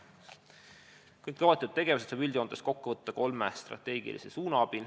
Kõik ülesloetud tegevused saab üldjoontes kokku võtta kolmes strateegilises suunas.